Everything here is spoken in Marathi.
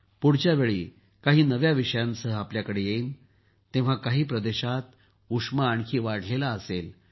पुढच्या वेळेस काही नव्या विषयांसह आपल्याकडे येईन तेव्हा काही प्रदेशांत उष्मा आणखी वाढलेला असेल